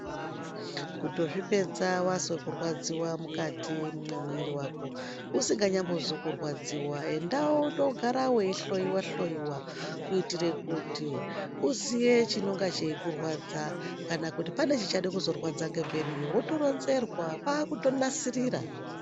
Kutozvipedza wazwe kurwadziwa mukati mwemwiri wako usinganyambozwi kurwadziwa enda wondoogara weihloyiwahloyiwa kuitire kuti uziye chinonga cheikurwadzwa kana kuti pane chichade kukurwadzwa ngemberiyo wotoronzerwa kwakutoronzerwa.